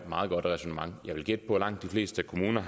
meget godt ræsonnement jeg vil gætte på at langt de fleste kommuner